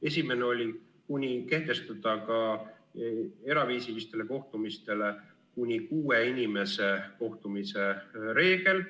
Esimene oli kehtestada ka eraviisilistele kohtumistele kuni kuue inimese kohtumise reegel.